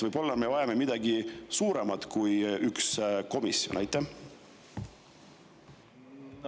Võib-olla me vajame midagi enamat kui üks komisjon?